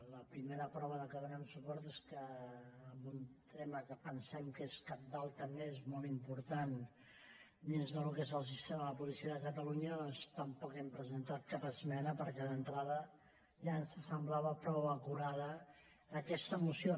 la primera prova que hi donem suport és que amb un tema que pensem que és cabdal també és molt important dins del que és el sistema de policia de catalunya doncs tampoc hem presentat cap esmena perquè d’entrada ja ens semblava prou acurada aquesta moció